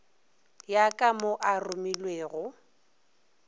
ya ka mo a ruwilego